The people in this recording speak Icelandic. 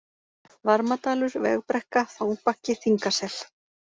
Varmadalur, Vegbrekka, Þangbakki, Þingasel